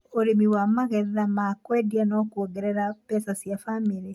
ũrĩmi wa magetha ma kwendia no kuongerere mbeca cia bamĩrĩ.